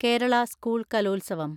Kerala school Kalolsavam